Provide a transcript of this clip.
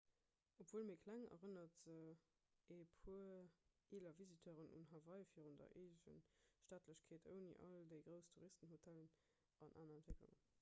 obwuel méi kleng erënnert se e puer eeler visiteuren un hawaii virun der eegestaatlechkeet ouni all déi grouss touristenhotellen an aner entwécklungen